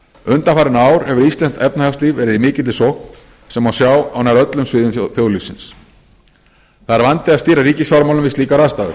undanfarin ár hefur íslenskt efnahagslíf verið í mikilli sókn sem má sjá á nær öllum sviðum þjóðlífsins það er vandi að stýra ríkisfjármálum við slíkar aðstæður